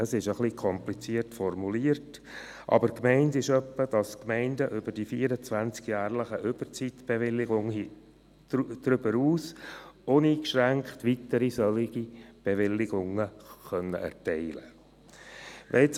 Es ist ein wenig kompliziert formuliert, aber gemeint ist etwa, dass die Gemeinden über die 24 jährlichen Überzeitbewilligungen hinaus uneingeschränkt weitere solcher Bewilligungen erteilen können.